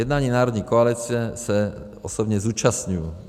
Jednání národní koalice se osobně zúčastňuji.